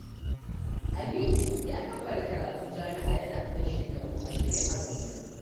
Aminu ya kammala karatun jami'a yana ɗan shekaru 20 a duniya.